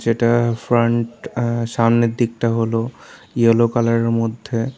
এটা ফ্রন্ট আ সামনের দিকটা হলো ইয়োলো কালারের মধ্যে।